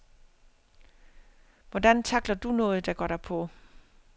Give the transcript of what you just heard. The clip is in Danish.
Hvordan tackler du noget, der går dig på?